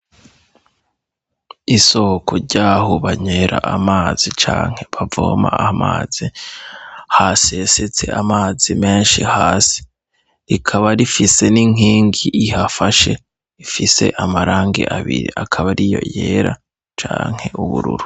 Isoko ryaho banywera amazi canke bavoma amazi hasesetse amazi menshi hasi, rikaba rifise n'inkingi ihafashe ifise amarangi abiri, akaba ariyo yera canke ubururu.